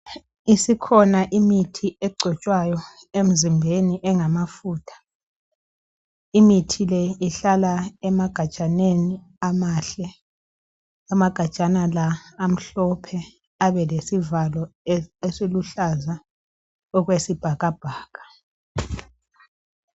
Isikhona imithi egcotshwayo emzimbeni engamafutha. Imithi le ihlala emagajaneni amahle. Amagajana la amhlophe abe lesivalo esiluhlaza okwesibhakabhaka.